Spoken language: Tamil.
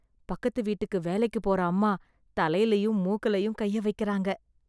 பக்கத்துவீட்டுக்கு வேலைக்கு போற அம்மா தலைலயும், மூக்குலயும் கைய வைக்கறாங்க.